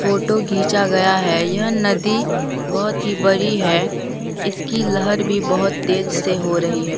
Photo घीचा गया है यह नदी बहोत ही बड़ी है इसकी लहर भी बहोत तेज से हो रही है।